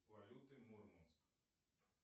валюты мурманск